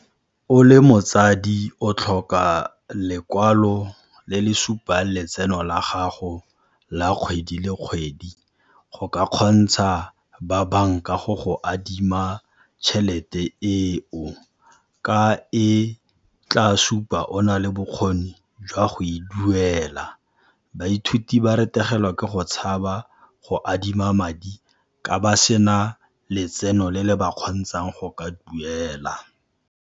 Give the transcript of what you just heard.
O le motsadi o tlhoka lekwalo le le supang letseno la gago la kgwedi le kgwedi go ka kgontsha ba banka go go adima tjhelete eo, ka e tla supa o na le bokgoni jwa go e duela. Baithuti ba ke go tshaba go adima madi ka ba sena letseno le le ba kgontshang go ka duela.